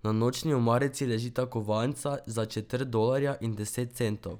Na nočni omarici ležita kovanca za četrt dolarja in deset centov.